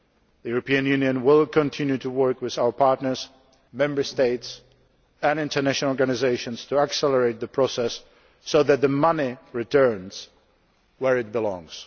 The European Union will continue to work with our partners, Member States and international organisations to accelerate the process so that the money returns to where it belongs.